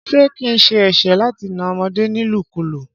Ṣé kín sẹ ẹsẹ láti nà ọmọdé nílu kú lu?